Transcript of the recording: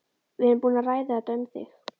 Við erum búin að ræða þetta. um þig.